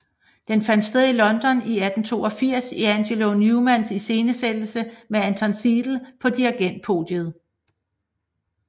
Den fandt sted i London i 1882 i Angelo Neumanns iscenesættelse med Anton Seidl på dirigentpodiet